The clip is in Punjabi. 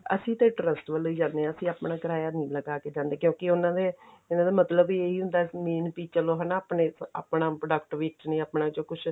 ਅਸੀਂ ਤਾਂ trust ਵੱਲੋਂ ਹੀ ਜਾਨੇ ਆਂ ਤੇ ਆਪਣਾ ਕਿਰਾਇਆ ਨੀ ਲਗਾ ਕੇ ਜਾਂਦੇ ਕਿਉਂਕਿ ਉਹਨਾ ਦੇ ਉਹਨਾ ਮਤਲਬ ਹੀ ਇਹੀ ਹੁੰਦਾ main ਬੀ ਚਲੋ ਹਣਾ ਆਪਣੇ ਆਪਣਾ product ਵੇਚਣੇ ਆਪਣਾ ਚੋਂ ਕੁੱਝ